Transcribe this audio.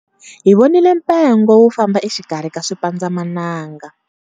Hi vonile mpengo wu famba exikarhi ka swipandzamananga.